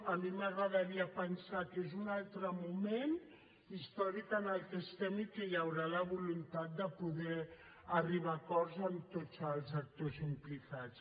a mi m’agradaria pensar que és un altre moment històric en què estem i que hi haurà la voluntat de poder arribar a acords amb tots els actors implicats